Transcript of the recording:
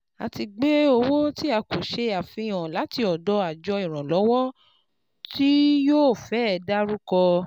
A ti gbé owó tí a kò ṣe àfihàn láti ọ̀dọ̀ àjọ ìrànlọ́wọ́ tí yóò fẹ́ dárúkọ.